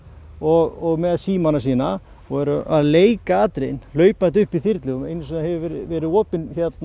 og með símana sína og eru að leika atriðin hlaupandi upp í þyrlu einu sinni hefur verið opið